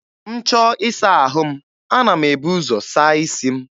M chọọ ịsa ahụ m, ana m ebu ụzọ saa isi m.